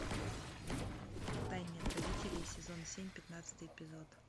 втайне от родителей сезон семь пятнадцатый эпизод